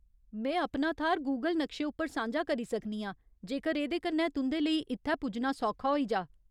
में अपना थाह्‌र गूगल नक्शे उप्पर सांझा करी सकनी आं जेकर एह्‌दे कन्नै तुं'दे लेई इत्थै पुज्जना सौखा होई जा।